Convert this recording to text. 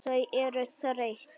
Þau eru þreytt.